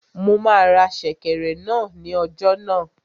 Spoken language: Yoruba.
Mo máa ra sèkẹ̀rẹ̀ náà ní ọjà náà